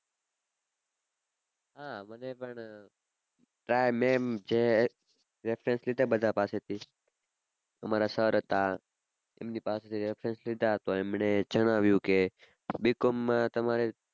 હાં મને પણ reference લીધા બધા પાસેથી અમારા sir હતાં એમના પાસેથી reference લીધા તો એમને જણાવ્યું કે Bcom માં તમારે